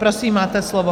Prosím, máte slovo.